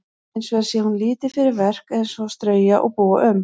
Hins vegar sé hún lítið fyrir verk eins og að strauja og búa um.